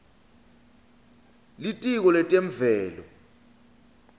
litiko letemvelo